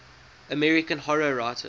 american horror writers